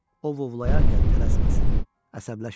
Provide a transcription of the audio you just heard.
Ovlayarkən tələsməsin, əsəbləşməsin.